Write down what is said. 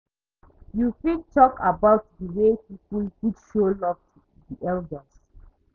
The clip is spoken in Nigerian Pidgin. You fit talk about di way people fit show love to di elders?